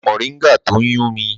Ẹ̀wẹ̀ mọ̀ríngà tó n yùn mí